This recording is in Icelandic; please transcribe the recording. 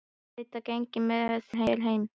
Auðvitað geng ég með þér heim